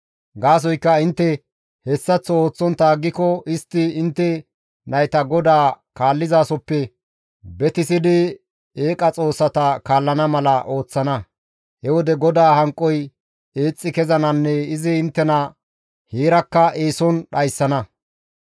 Gaasoykka intte hessaththo ooththontta aggiko istti intte nayta GODAA kaallizasoppe betissidi eeqa xoossata kaallana mala ooththana; he wode GODAA hanqoy eexxi kezananne izi inttena heerakka eeson dhayssana.